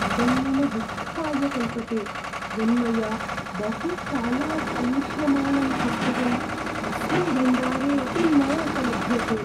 इदं मम दुःखाय कल्पते यन्मया बहुकालात् अन्विष्यमाणं पुस्तकम् अस्मिन् भण्डारे अपि न उपलभ्यते।